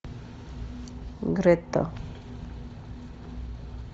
грета